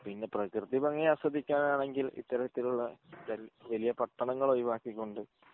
പിന്ന പ്രകൃതി ഭംഗി ആസ്വദിക്കാൻ ആണെങ്കിൽ ഇത്തരത്തിലുള്ള ചെറിയ പട്ടണങ്ങൾ ഒഴിവാക്കി കൊണ്ട്